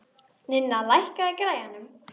Ninna, lækkaðu í græjunum.